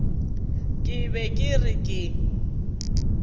ke be ke re ke